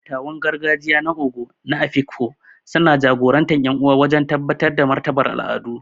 Dattawan gargajiya na Ogo na Afikpo suna jagorantar ƴan uwa wajen tabbatar da martabar al’adu.